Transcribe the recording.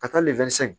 Ka taa lifɛrɛn